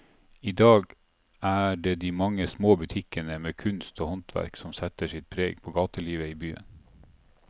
I dag er det de mange små butikkene med kunst og håndverk som setter sitt preg på gatelivet i byen.